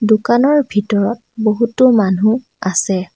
দোকানৰ ভিতৰত বহুতো মানুহ আছে।